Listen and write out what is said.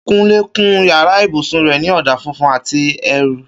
Kúnlé kun yàrá ibùsùn rẹ̀ ní ọ̀dà funfun àti eérú